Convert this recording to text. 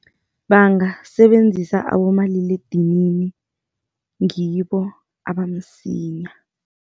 Bangasebenzisa abomaliledinini, ngibo abamsinya.